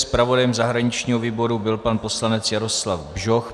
Zpravodajem zahraničního výboru byl pan poslanec Jaroslav Bžoch.